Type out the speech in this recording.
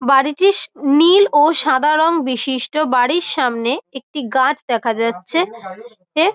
বাড়িটি নীল ও সাদা রঙ বিশিষ্ট বাড়ীর সামনে একটি গাছ দেখা যাচ্ছে। এ--